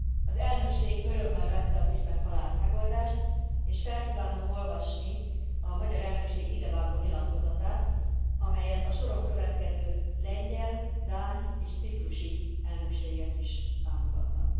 Az elnökség örömmel vette az ügyben talált megoldást, és fel kívánom olvasni a magyar elnökség idevágó nyilatkozatát, amelyet a soron következő lengyel, dán és ciprusi elnökségek is támogatnak.